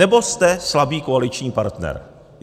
Nebo jste slabý koaliční partner.